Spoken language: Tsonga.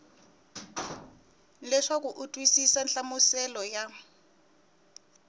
leswaku u twisisa nhlamuselo ya